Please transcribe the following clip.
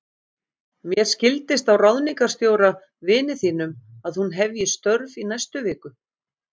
Mér skildist á ráðningarstjóra, vini þínum, að hún hefji störf í næstu viku.